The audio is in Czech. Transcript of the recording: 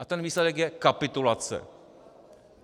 A ten výsledek je kapitulace.